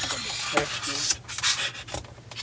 Que diabo é sexo, meu Deus?